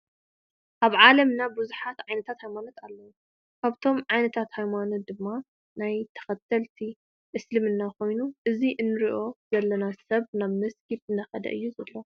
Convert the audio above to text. ኣብ ዓለም ብዙሓት ዓይነታት ሃይማኖት ኣለው ካብቶም ዓይነታት ሃይማኖት ድማ ናይ ተከተልቲ እሰልምና ኮይኑ እዚ እንሪኦ ዘለና ሰብ ናብ መሰጊድ እንዳከደ እዩ ዘሎ።